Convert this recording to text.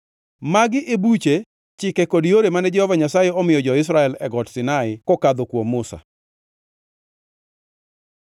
Magi e buche, chike kod yore mane Jehova Nyasaye omiyo jo-Israel e Got Sinai kokadho kuom Musa.